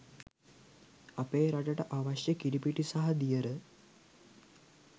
අපේ රටට අවශ්‍ය කිරිපිටි සහ දියර